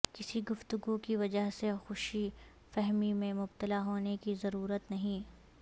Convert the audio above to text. کسی گفتگو کی وجہ سے خوش فہمی میں مبتلا ہونے کی ضرورت نہیں